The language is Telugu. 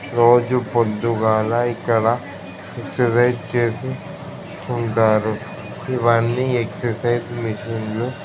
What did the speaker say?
రోజు పొద్దుగాల ఇక్కడ ఎక్సరసైజ్ చేసి ఉంటారు. ఇవన్నీ ఎక్సరసైజ్ మిషన్ లు--